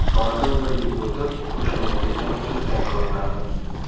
Oradan bir yil o‘tib o‘sha natija yana takrorlandi.